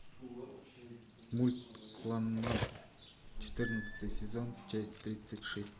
мульт кланнад четырнадцатый сезон часть тридцать шесть